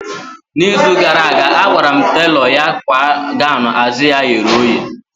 Na izu gara aga, agwara m telọ ya kwa gọwn azụ ya ye oye